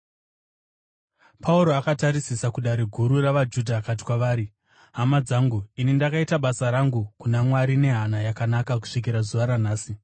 Pauro akatarisisa kuDare Guru ravaJudha akati kwavari, “Hama dzangu, ini ndakaita basa rangu kuna Mwari nehana yakanaka kusvikira zuva ranhasi.”